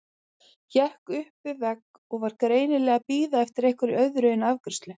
Hékk upp við vegg og var greinilega að bíða eftir einhverju öðru en afgreiðslu.